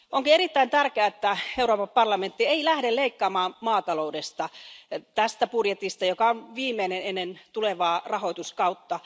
Onkin erittäin tärkeää, että Euroopan parlamentti ei lähde leikkaamaan maataloudesta tässä budjetissa, joka on viimeinen ennen tulevaa rahoituskautta.